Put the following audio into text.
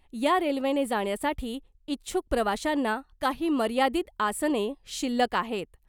या रेल्वेने जाण्यासाठी इच्छूक प्रवाशांना काही मर्यादित आसने शिल्लक आहेत .